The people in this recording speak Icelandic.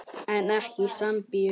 En ekki í Sambíu.